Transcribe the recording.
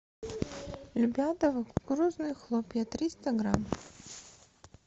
любятово кукурузные хлопья триста грамм